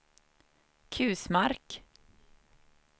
Kusmark